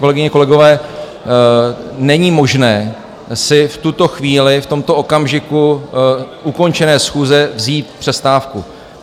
Kolegyně, kolegové, není možné si v tuto chvíli, v tomto okamžiku ukončené schůze vzít přestávku.